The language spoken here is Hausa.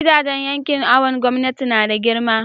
gidajen yankin awon gomnati nada girma